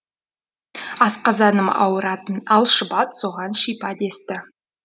асқазаным ауыратын ал шұбат соған шипа десті